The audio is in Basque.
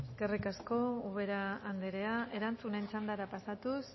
eskerrik asko ubera anderea erantzunen txandara pasatuz